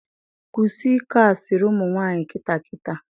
Kwụsị ịkọ asịrị ụmụnwanyị kịta kịta!